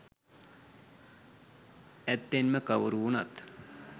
ඇත්තෙන්ම කවුරු වුණත්